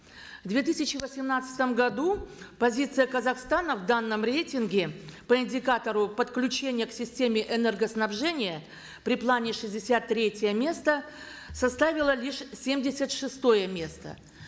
в две тысячи восемнадцатом году позиция казахстана в данном рейтинге по индикатору подключения к системе энергоснабжения при плане шестьдесят третье место составила лишь семьдесят шестое место